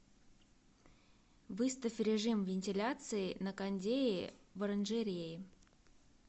выставь режим вентиляции на кондее в оранжерее